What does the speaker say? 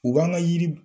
U b'an ka yiri